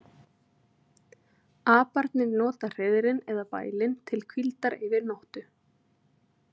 Aparnir nota hreiðrin eða bælin til hvíldar yfir nóttu.